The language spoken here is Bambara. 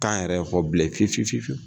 K'an yɛrɛ fɔ bilen fifi fiwu.